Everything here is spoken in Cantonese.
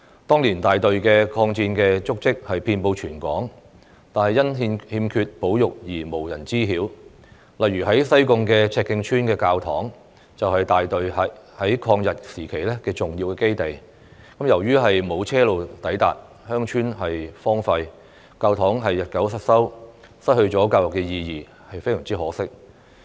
當年大隊的抗戰足跡遍布全港，但因欠缺保育而無人知曉，例如在西貢赤徑村的教堂，就是大隊在抗日時期的重要基地，由於沒有車路抵達，鄉村荒廢，教堂日久失修，失去了教育意義，非常可惜。